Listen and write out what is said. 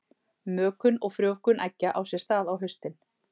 Mökun og frjóvgun eggja á sér stað á haustin.